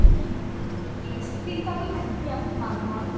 চিন্তাটো থাকেই দিয়াচোন মানুহৰ